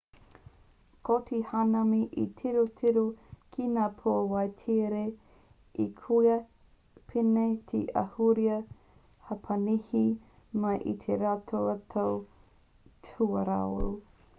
ko te hanami he tirotiro ki ngā pūāwai tiere ā kua pēnei te ahurea hapanihi mai i te rautau tuawaru